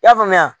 I y'a faamuya